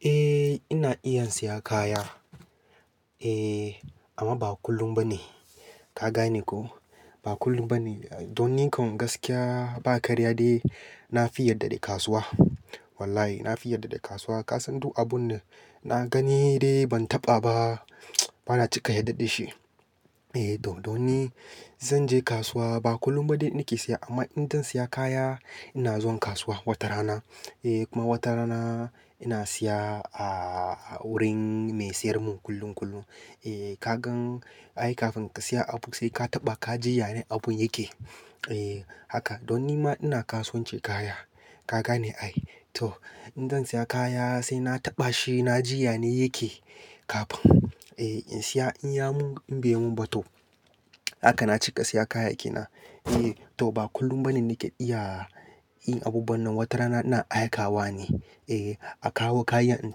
Eh ina iya siya kaya, eh amma ba kullum ba ne. Kagane ko ba kullum ba ne. Don nikan gaskiya ba karya dai na fi yarda da kasuwa. Wallahi na fi yarda da kasuwa. Ka san duk abun da na gani dai ban taɓa ba bana cika yarda da shi. Eh, don don ni zan je kasuwa ba kullum ba dai nake siya amma idan zan siya kaya ina zuwan kasuwa wata rana. Eh kuma wata rana ina siya a wurin mai siyar mun kullum kullum. Eh ka gan ai kafin ka siya abu sai ka taɓa ka ji yane abun yake. Eh haka don nima ina kasuwancin kaya. Ka gane ai? To in zan siya kaya sai na taɓa shi na ji yane yake kafin. Eh in siya in ya mun in bai mun ba to haka na cika siya kaya kenan. Eh to ba kullum ba ne nake iya yin abubuwan nan. Wata rana ina aika wa ne, eh a kawo kayan in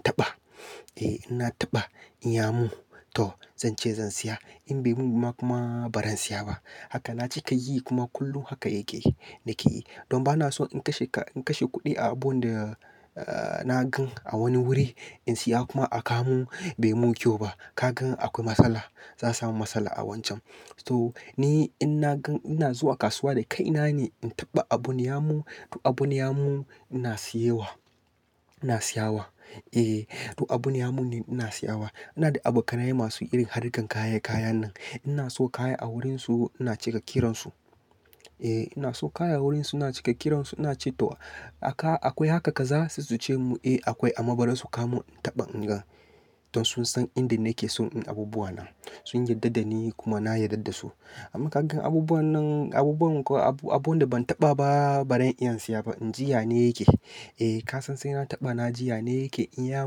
taɓa. Eh inna taɓa in ya mun to zan ce zan siya in bai mun ba kuma ba zan siya ba. Haka na cika yi kuma kullum haka yake nake yi. Don bana so in kashe ka-- in kashe kuɗi a abun da ah na gan a wani wuri in siya kuma a ka mun bai mun kyau ba. Ka gan akwai matsala, za'a samu matsala a wancan. To ni in nagan ina zuwa kasuwa da kai nane in taɓa abun yamin, in abun yamin ina siyewa, ina siyawa. Eh to abun ya mun ne ina siya wa. Ina da abokanai masu irin harkar kayan kayan nan. Ina so kaya a wurin su ina cika kiran su. Eh ina so kaya wurin su ina cika kiran su ina ce to aka-- akwai haka kaza sai su ce mun eh akwai amma bari su ka mun in taɓa in gan. Don sun san inda nake so in abubuwa na. Sun yarda da ni kuma na yarda da su. Amma ka gan abubuwan nan abubuwan kuwa abu, abun da ban taɓa ba baran iya siya ba in ji yane yake. Eh ka san sai na taɓa na ji yane yake in ya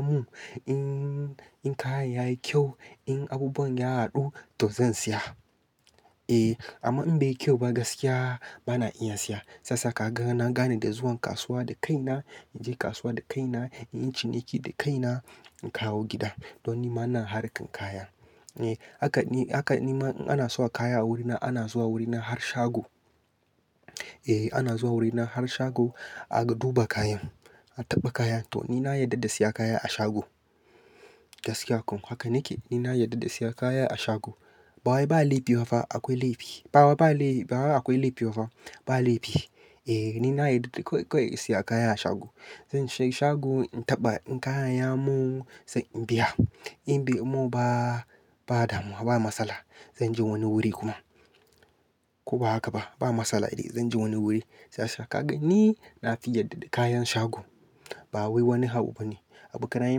mun, in, in kayan yayi kyau, in abubuwan ya haɗu to zan siya. Eh amma in bai yi kyau ba gaskiya bana iya siya. Sasa kagan na gane da zuwan kasuwa da kaina, in je kasuwa da kaina, in yi ciniki da kaina, in kawo gida. Don nima ina harkan kaya. Eh haka ni, haka nima ina so kaya a wurina ana zuwa wurina har shago. Eh ana zuwa wurina har shago, aka duba kayan, a taɓa kayan to ni na yarda da siya kaya a shago. Gaskiya ko haka nake ni na yarda da siya kaya a shago. Ba wai ba laifi bafa akwai laifi. Ba wa ba laifi bawai akwai laifi bafa, ba laifi. Eh ni na yarda da kawai, kawai in siya kaya a shago. Zan shiga shago in taɓa in kayan ya mun sai in biya. In bai mun ba, ba damuwa ba matsala. Zan je wani wuri kuma. Ko ba haka ba ba matsala eh. Zan je wani wuri. Sasa ka gan ni na fi yarda da kayan shago. Bawai wani abu bane abokanaye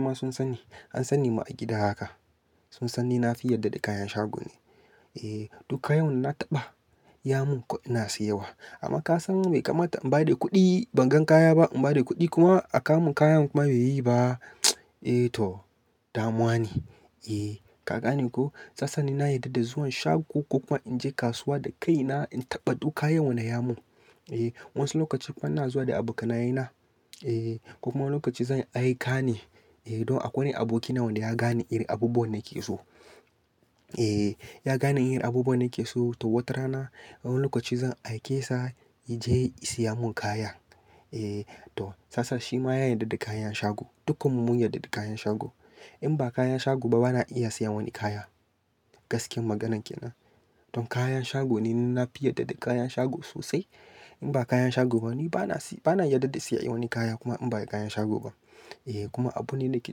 ma sun sanni, an sani ma gida haka. Sun sani na fi yarda da kayan shago ne. Eh duka yawan na taɓa ya mun kawai ina siyawa. Amma ka san bai kamata in ba da kuɗi ban gan kaya ba in ba da kuɗi kuma a kawo mun kayan kuma bai yi ba eh to damuwa ne. Eh ka gane ko? Sasa ni na yarda da zuwan shago ko kuma in je kasuwa da kaina in taɓa duk kayan wanda ya mun. Eh wasu lokaci kuma ina zuwa da abokanai na, eh ko kuma wani lokaci zan aika ne, eh don akwai wani aboki na wanda ya gane irin abubuwan nake so. Eh ya gane irin abubuwan nake so to wata rana a wani lokaci zan aike sa ya je ya siya mun kaya. Eh to sasa shi ma ya yarda da kayan shago. Dukkan mu mun yarda da kayan shago. In ba kayan shago ba bana iya siya wani kaya. Gaskiyan maganan kenan. Don kayan shago ne ni nafi yarda da kayan shago sosai. In ba kayan shago ba ni bana si-- bana yarda da siya wani kaya kuma in bai kayan shago ba. Eh kuma abu ne nake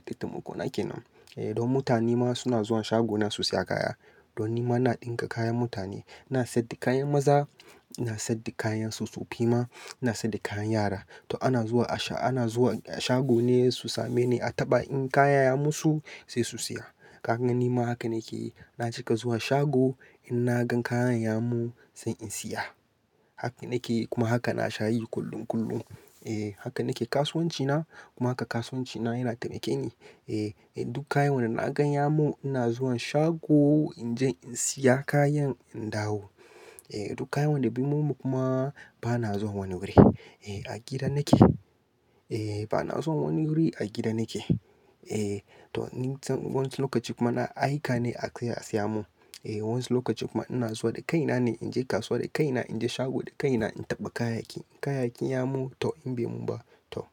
taimako na kenan. Eh don mutane ma suna zuwa shago na su siya kaya. Don nima ina ɗinka kayan mutane. Ina saida kayan maza, ina saida kayan tsofaffi ma, ina saida kayan yara. To ana zuwa a sha-- ana zuwa a shago ne su same ne a taɓa in kaya ya musu sai su siya. Ka gan nima haka nake yi. Na cika zuwa shago in na gan kayan ya mun sai in siya. Haka nake yi kuma haka na sha yi kullum kullum. Eh haka nake kasuwanci na kuma haka kasuwanci na yana taimake ni. Eh duk kaya wanda na gan ya mun ina zuwan shago in je in siya kayan in dawo. Eh duk kaya wanda bai mun ba kuma bana zuwa wani wuri. Eh a gida nake. Eh bana zuwan wani wuri a gida nake. Eh to ni wasu lokaci kuma na aika ne aje a siya mun. Eh wasu lokaci kuma ina zuwa dakai nane inje kasuwa dakai na inje shago dakai na in taɓa kayayyaki in kayayyaki yamun to, in bai mun ba to.